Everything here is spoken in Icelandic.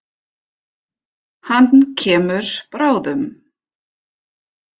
Hann kemur bráðum.